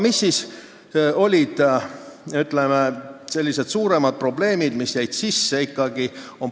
Mis siis olid, ütleme, sellised suuremad probleemid, mis ikkagi seadusesse sisse jäid?